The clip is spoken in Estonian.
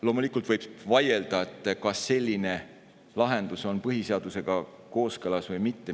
Loomulikult võib vaielda, kas selline lahendus on põhiseadusega kooskõlas või mitte.